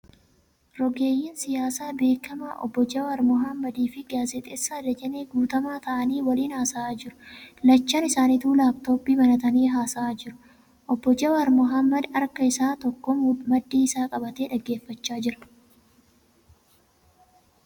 Rogeeyyiin siyaasaa beekamaa obbo Jawaar Mohaammadii fi gaazexeesaa Dajanee Guutamaa taa'anii waliin haasa'aa jiru. Lachan isaaniituu laaptooppii banatanii haasa'aa jiru. Obbo Jawaa Mohaammad harka isaa tokko maddii isaa qabatee dhaggeeffachaa jira .